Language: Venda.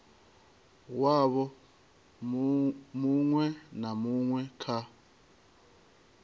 wavho muṅwe na muṅwe kha